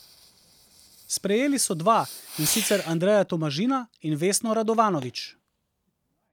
Sprejeli so dva, in sicer Andreja Tomažina in Vesno Radovanović.